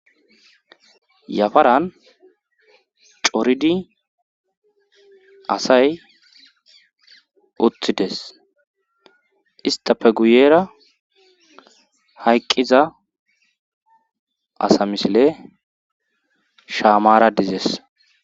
yafaran coridi asay utides istafe guyeera hayqqiza asa misile shaamara dizes